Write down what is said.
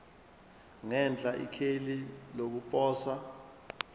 ngenhla ikheli lokuposa